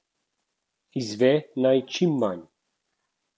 Izve naj čim manj.